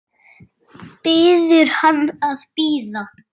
Biður hann að bíða.